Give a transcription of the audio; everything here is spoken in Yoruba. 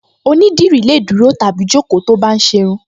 Onídìrí lè dúró tàbí jókòó tó bá ń ṣe irun